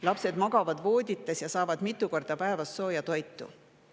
Lapsed magavad voodites ja saavad mitu korda päevas sooja toitu.